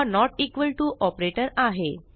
हा not equal to operator आहे